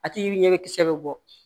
A tigi ɲɛ bɛ kisɛ bɛ bɔ